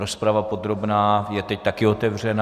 Rozprava podrobná je teď taky otevřená.